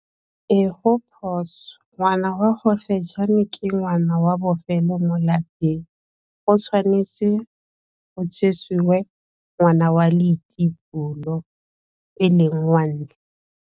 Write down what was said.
Ee go phoso, ngwana wa gofejane ke ngwana wa bofelo mo lapeng, go tshwanetse go jisiwe ngwana wa leitibolo e leng wa ntlha.